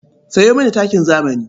Sayo mini takin zamani.